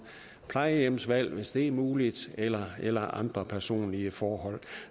plejehjemsvalg hvis det er muligt eller eller andre personlige forhold